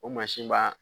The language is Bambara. O mansin b'a